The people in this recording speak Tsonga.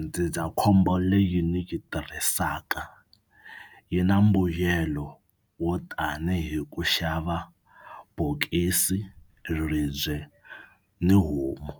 Ndzindzakhombo leyi ni yi tirhisaka yi na mbuyelo wo tanihi ku xava bokisi, ribye ni homu.